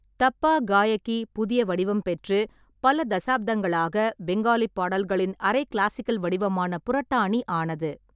தப்பா காயகி புதிய வடிவம் பெற்று, பல தசாப்தங்களாக பெங்காலி பாடல்களின் அரை கிளாசிக்கல் வடிவமான புரட்டானி ஆனது.